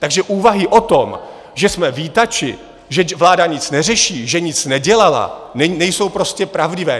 Takže úvahy o tom, že jsme vítači, že vláda nic neřeší, že nic nedělala, nejsou prostě pravdivé.